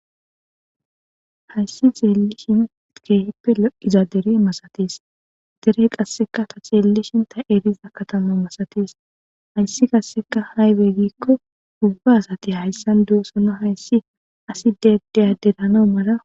Hayssi xeeli shin kehippe loqiza dere masatis dere qasseka ta xeellishinta eriza katama masates hayssi qasseka haybe giikko gubba asati hayssan duosona hayssi asi dedeyaderano mala.